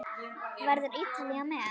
Verður Ítalía með?